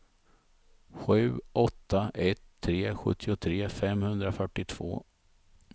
sju åtta ett tre sjuttiotre femhundrafyrtiotvå